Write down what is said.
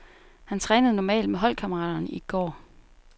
Han trænede normalt med holdkammeraterne i går.